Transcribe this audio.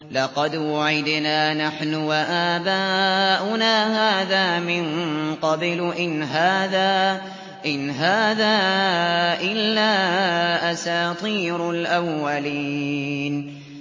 لَقَدْ وُعِدْنَا نَحْنُ وَآبَاؤُنَا هَٰذَا مِن قَبْلُ إِنْ هَٰذَا إِلَّا أَسَاطِيرُ الْأَوَّلِينَ